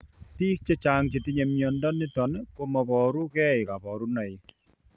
Biik chechang chetinye mnyondo niton komoboru gee kabarunaik